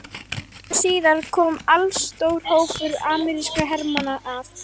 Skömmu síðar kom allstór hópur amerískra hermanna að